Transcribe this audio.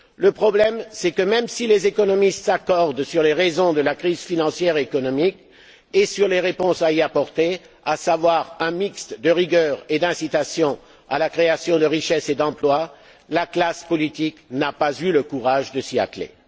Le problème est que, même si les économistes s'accordent sur les raisons de la crise financière et économique, et sur les réponses à y apporter à savoir un mix de rigueur et d'incitations à la création de richesses et d'emplois la classe politique n'a pas eu le courage de s'y atteler.